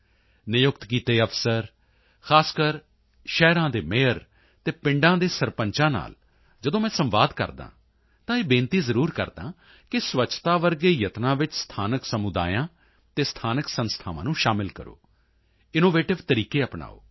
ਨਿਯੁਕਤ ਕੀਤੇ ਅਫਸਰ ਖਾਸ ਕਰਕੇ ਸ਼ਹਿਰਾਂ ਦੇ ਮੇਅਰ ਅਤੇ ਪਿੰਡਾਂ ਦੇ ਸਰਪੰਚਾਂ ਨਾਲ ਜਦੋਂ ਮੈਂ ਸੰਵਾਦ ਕਰਦਾ ਹਾਂ ਤਾਂ ਇਹ ਬੇਨਤੀ ਜ਼ਰੂਰ ਕਰਦਾ ਹਾਂ ਕਿ ਸਵੱਛਤਾ ਵਰਗੇ ਯਤਨਾਂ ਵਿੱਚ ਸਥਾਨਕ ਸਮੁਦਾਇਆਂ ਅਤੇ ਸਥਾਨਕ ਸੰਸਥਾਵਾਂ ਨੂੰ ਸ਼ਾਮਲ ਕਰੋ ਇਨੋਵੇਟਿਵ ਤਰੀਕੇ ਅਪਣਾਓ